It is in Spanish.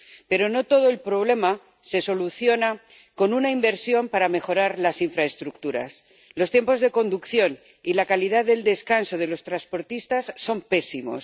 Pero no todo el problema se soluciona con una inversión para mejorar las infraestructuras los tiempos de conducción y la calidad del descanso de los transportistas son pésimos.